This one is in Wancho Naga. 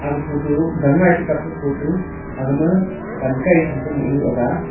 ag photo gangngai to kappu photo agma pan kai champe monu aga.